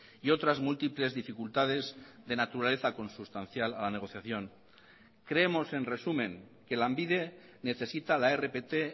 y otras múltiples dificultades de naturaleza consustancial a la negociación creemos en resumen que lanbide necesita la rpt